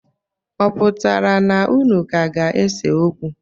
Ọ pụtara na unu ka ga-ese okwu?